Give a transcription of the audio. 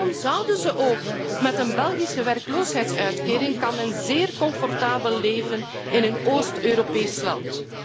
Waarom zouden ze ook zoeken? Met een Belgische werkloosheidsuitkering kan men zeer comfortabel leven in een Oost Europees land!